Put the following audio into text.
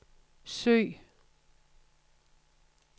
søg